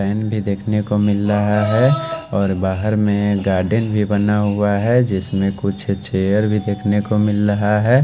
Line भी देखने को मिल रहा है और बाहर में गार्डन भी बना हुआ है जिसमें कुछ चेयर भी देखने को मिल रहा है।